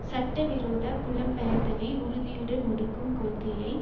சட்டவிரோத புலம்பெயர்தலை உறுதியுடன் ஒடுக்கும் கொள்கையை